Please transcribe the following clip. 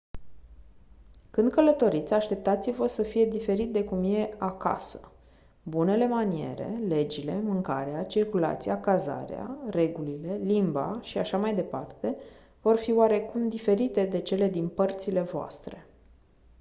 când călătoriți așteptați-vă să fie diferit de cum e «acasă». bunele maniere legile mâncarea circulația cazarea regulile limba și așa mai departe vor fi oarecum diferite de cele din părțile voastre.